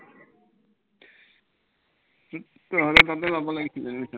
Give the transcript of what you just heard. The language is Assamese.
হম তহঁতৰ তাতে লব লাগিছিলে admission টো